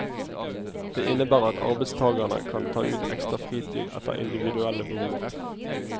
Det innebærer at arbeidstagerne kan ta ut ekstra fritid etter individuelle behov.